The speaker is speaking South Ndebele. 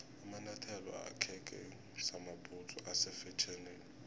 amanyathelo akheke samabhudzu ase fetjhenini